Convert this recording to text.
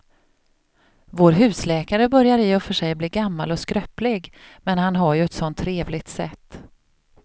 Vår husläkare börjar i och för sig bli gammal och skröplig, men han har ju ett sådant trevligt sätt!